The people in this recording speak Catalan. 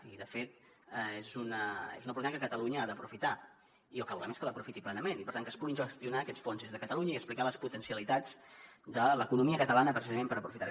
i de fet és una oportunitat que catalunya ha d’aprofitar i el que volem és que l’aprofiti plenament i per tant que es puguin gestionar aquests fons des de catalunya i explicar les potencialitats de l’economia catalana precisament per aprofitar ho